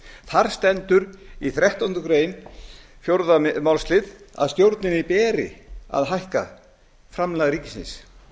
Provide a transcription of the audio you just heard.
þar stendur í þrettándu greinar fjórða málslið að stjórninni beri að hækka framlag ríkisins þetta